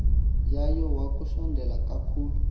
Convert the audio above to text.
yayo wakusondela kakhulu